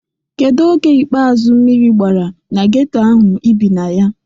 Kedu oge ikpeazu mmiri gbara na geto ahụ ị bi na ya?